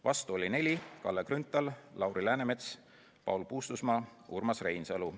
Vastu oli neli: Kalle Grünthal, Lauri Läänemets, Paul Puustusmaa ja Urmas Reinsalu.